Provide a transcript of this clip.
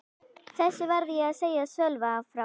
Þessu varð ég að segja Sölva frá.